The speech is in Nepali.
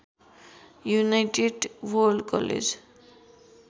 United World college